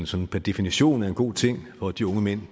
sådan per definition er en god ting og at de unge mænd